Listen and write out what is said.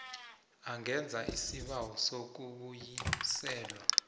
angenza isibawo sokubuyiselwa